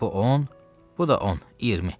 Bu on, bu da on, iyirmi.